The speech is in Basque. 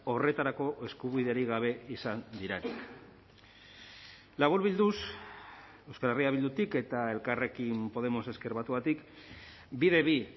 horretarako eskubiderik gabe izan diren laburbilduz euskal herria bildutik eta elkarrekin podemos ezker batuatik bide bi